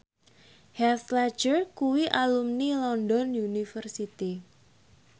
Heath Ledger kuwi alumni London University